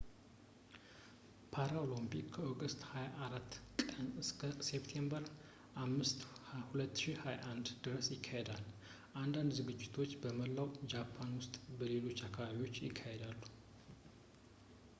ፓራሊምፒክ ከኦገስት 24 ቀን እስከ ሴፕቴምበር 5 2021 ድረስ ይካሄዳል አንዳንድ ዝግጅቶች በመላው ጃፓን ውስጥ በሌሎች አካባቢዎች ይካሄዳሉ